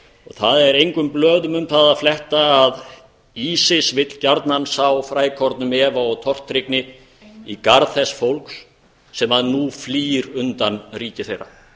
það er engum blöðum um það að fletta að isis vill gjarnan sá frækornum efa og tortryggni í garð þess fólks sem nú flýr undan ríki þeirra